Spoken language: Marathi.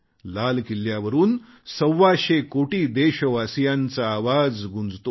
लाल किल्लावरून सव्वाशे कोटी देशवासीयांचा आवाज गुंजतो